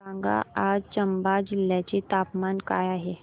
सांगा आज चंबा जिल्ह्याचे तापमान काय आहे